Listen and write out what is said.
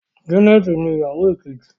Janet ní ìyàwó Kejì.